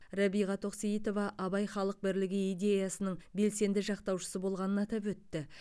рәбиға тоқсейітова абай халық бірлігі идеясының белсенді жақтаушысы болғанын атап өтті